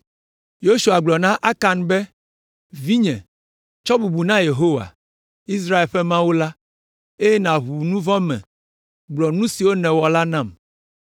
Yosua gblɔ na Akan be, “Vinye, tsɔ bubu na Yehowa, Israel ƒe Mawu la, eye nàʋu nu vɔ̃ me; gblɔ nu si nèwɔ la nam.”